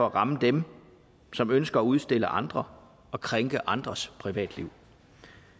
at ramme dem som ønsker at udstille andre og krænke andres privatliv